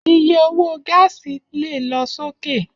Iye owó gáàsì lè lọ sókè